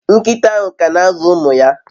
Nkita ahu kana azu umu ya